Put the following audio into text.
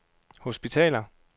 hospitaler